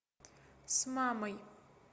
с мамой